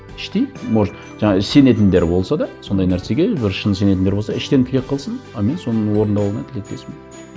іштей может жаңа сенетіндер болса да сондай нәрсеге бір шын сенетіндер болса іштен тілек қылсын а мен соның орындалуына тілектеспін